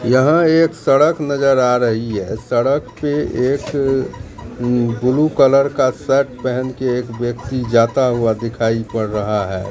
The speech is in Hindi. यहां एक सड़क नजर आ रही है सड़क पे एक ब्लू कलर का शर्ट पहन के एक व्यक्ति जाता हुआ दिखाई पड़ रहा है।